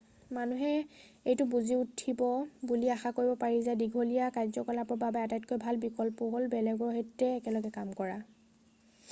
মানুহে এইটো বুজি উঠিব বুলি আশা কৰিব পাৰি যে দীঘলীয়া কাৰ্যকালৰ বাবে আটাইতকৈ ভাল বিকল্প হ'ল বেলেগৰ সৈতে একেলগে কাম কৰা